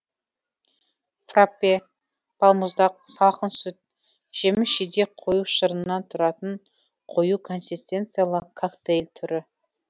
фраппе балмұздақ салқын сүт жеміс жидек қою шырынынан тұратын қою консистенциялы коктейль түрі